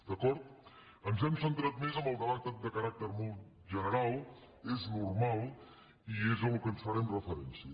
d’acord ens hem centrat més en el debat de caràcter molt general és normal i és al que farem referència